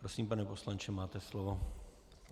Prosím, pane poslanče, máte slovo.